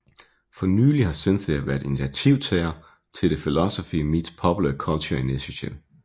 For nylig har Cynthia været initiativtager til The Philosophy Meets Popular Culture Initiative